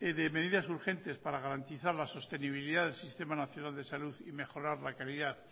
de medidas urgentes para garantizar la sostenibilidad del sistema nacional de salud y mejorar la calidad